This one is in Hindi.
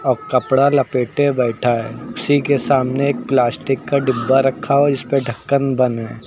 और कपड़ा लपेटे बैठा है उसी के सामने एक प्लास्टिक का डिब्बा रखा और इस पे ढक्कन बंद है।